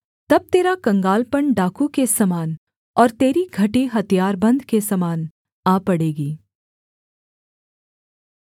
तब तेरा कंगालपन डाकू के समान और तेरी घटी हथियारबन्द के समान आ पड़ेगी